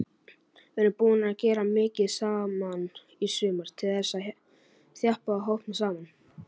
Við erum búnir að gera mikið saman í sumar til þess að þjappa hópnum saman.